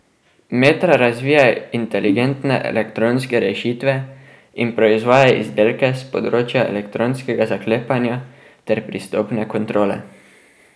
Metra razvija inteligentne elektronske rešitve in proizvaja izdelke s področja elektronskega zaklepanja ter pristopne kontrole.